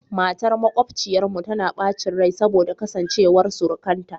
Matar makwabciyarmu tana bacin rai saboda kasancewar surukanta